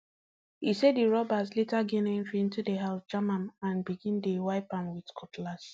e say di robbers later gain entry into di house jam am um and begin dey wipe am with cutlass um